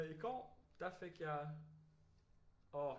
I går der fik jeg åh